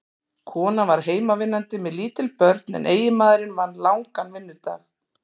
Konan var heimavinnandi með lítil börn en eiginmaðurinn vann langan vinnudag.